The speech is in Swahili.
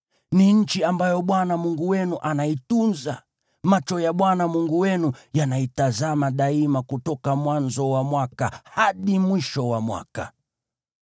Ni nchi ambayo Bwana Mungu wenu anaitunza; macho ya Bwana Mungu wenu yanaitazama daima kutoka mwanzo wa mwaka hadi mwisho wa mwaka.